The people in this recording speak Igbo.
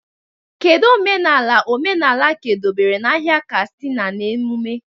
Kedu omenala omenala ka edobere n'ahịa Katsina na emume?